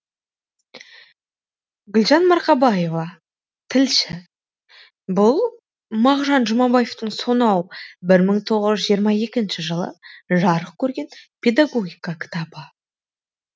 гүлжан марқабаева тілші бұл мағжан жұмабаевтың сонау бір мың тоғыз жүз жиырма екінші жылы жарық көрген педагогика кітабы